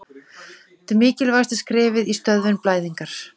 þetta er mikilvægasta skrefið í stöðvun blæðingar